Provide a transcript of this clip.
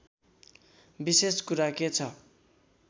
विशेष कुरा के छ